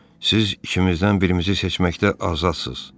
Siz ikimizdən birimizi seçməkdə azadsız.